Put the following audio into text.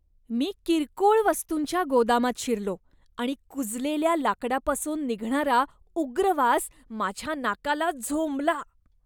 मी किरकोळ वस्तूंच्या गोदामात शिरलो आणि कुजलेल्या लाकडापासून निघणारा उग्र वास माझ्या नाकाला झोंबला.